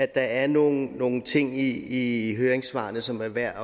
der er nogle nogle ting i i høringssvarene som er værd